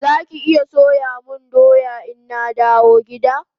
Zaki iya soya mun doya ina dawo gida?